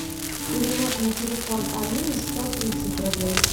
перевод на телефон алины сто тридцать рублей